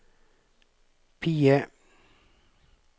PIE